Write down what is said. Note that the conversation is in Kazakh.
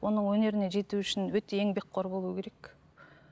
оның өнеріне жету үшін өте еңбекқор болу керек